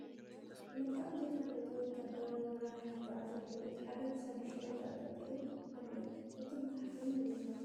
መልክዖም ዘይተፈለጡ ወትሃደራዊ መራሕቲ ይጎዕዙ ኣለዉ ። እቲ ሓደ ኣብ ክሳዱ ሸሪጥ እንጠልጢሉ ኣሎ ። እቶም መርሕቲ እንመን ይበሃሉ ?